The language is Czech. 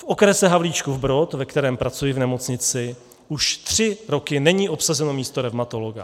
V okrese Havlíčkův Brod, ve kterém pracuji v nemocnici, už tři roky není obsazeno místo revmatologa.